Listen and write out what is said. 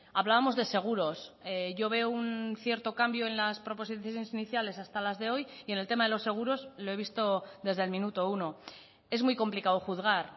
hablábamos de seguros yo veo un cierto cambio en las proposiciones iniciales hasta las de hoy y en el tema de los seguros lo he visto desde el minuto uno es muy complicado juzgar